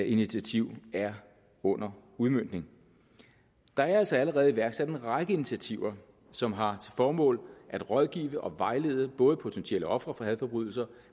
initiativ er under udmøntning der er altså allerede iværksat en række initiativer som har formål at rådgive og vejlede både potentielle ofre for hadforbrydelser